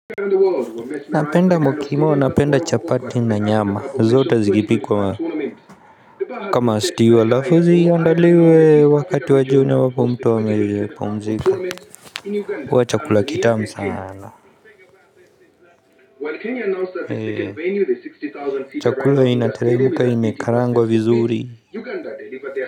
Napenda mukimo, napenda chapati na nyama zote zikipikwa kama stew. Halafu ziandaliwe wakati wa jioni ambapo mtu amepumzika. Huwa chakula kitamu sana. Chakula inateremka imekaangwa vizuri Uganda daily.